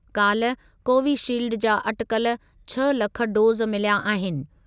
काल्ह कोविशील्ड जा अटिकल छह लख डोज़ मिलिया आहिनि।